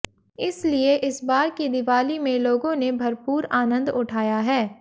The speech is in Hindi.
इसलिए इस बार की दिवाली में लोगों ने भरपूर आनंद उठाया है